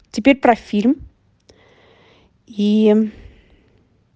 теперь про фильм и